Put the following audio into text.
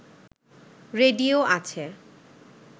radio আছে